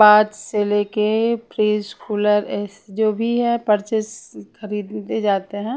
बाद से लेके प्री स्कूलर जो भी है परचेस खरीदते जाते हैं।